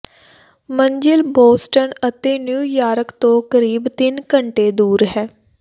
ਮੰਜ਼ਿਲ ਬੋਸਟਨ ਅਤੇ ਨਿਊਯਾਰਕ ਤੋਂ ਕਰੀਬ ਤਿੰਨ ਘੰਟੇ ਦੂਰ ਹੈ